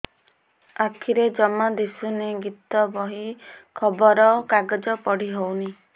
ଆଖିରେ ଜମା ଦୁଶୁନି ଗୀତା ବହି ଖବର କାଗଜ ପଢି ହଉନି